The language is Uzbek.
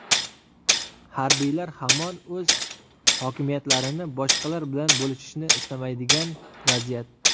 Harbiylar hamon o‘z hokimiyatlarini boshqalar bilan bo‘lishishni istamaydigan vaziyat.